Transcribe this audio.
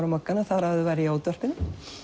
á Mogganum þar áður var ég á útvarpinu